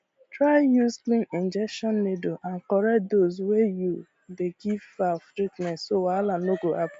try use clean injection needle and correct dose when you dey give fowl treatment so wahala no go hap